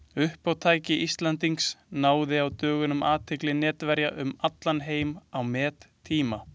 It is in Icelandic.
Uppátæki Íslendings náði á dögunum athygli netverja um allan heim á mettíma.